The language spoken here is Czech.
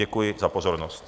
Děkuji za pozornost.